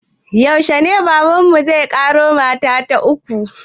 Yaushe ne baban mu zai ƙaro mata ta uku?